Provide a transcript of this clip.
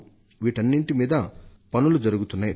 వీటన్నింటి మీద పనులు జరుగుతున్నాయి